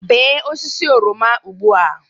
Bee osisi oroma ugbu a